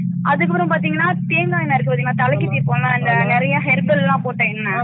அதுக்கு அப்பறம் பாத்திங்கனா தேங்கா என்னை இருக்குபாதின்களா தலைக்கு தேயப்போம்ல நிறையா herbal லாம் போட்ட என்னை